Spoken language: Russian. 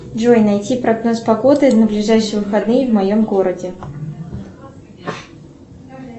джой найти прогноз погоды на ближайшие выходные в моем городе